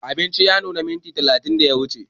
Abinci ya nuna minti talatin da ya wuce